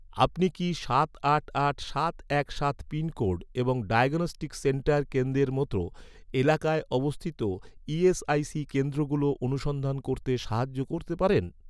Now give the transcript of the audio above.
আপনি কি সাত আট আট সাত এক সাত পিনকোড এবং ডায়াগনস্টিক সেন্টার কেন্দ্রের মতো, এলাকায় অবস্থিত ই.এস.আই.সি কেন্দ্রগুলো অনুসন্ধান করতে সাহায্য করতে পারেন?